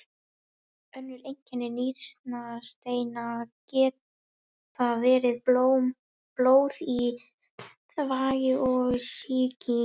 Önnur einkenni nýrnasteina geta verið blóð í þvagi og sýking.